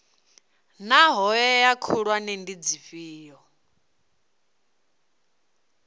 naa hoea khulwane ndi dzifhio